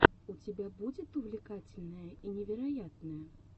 у тебя будет увлекательное и невероятное